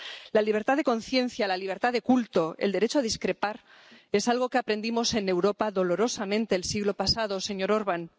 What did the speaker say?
La libertad de conciencia, la libertad de culto, el derecho a discrepar es algo que aprendimos en Europa dolorosamente el siglo pasado, señor Orbán.